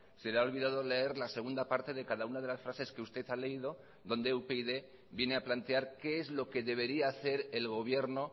se le ha olvidado leer la segunda parte de cada una de las frases que usted ha leído donde upyd viene a plantear qué es lo que debería hacer el gobierno